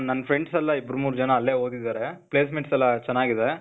ನನ್ friends ಎಲ್ಲ ಇಬ್ರು ಮೂರ್ ಜನ ಅಲ್ಲೇ ಓದಿದಾರೆ, placements ಎಲ್ಲಾ ಚನಾಗಿದೆ,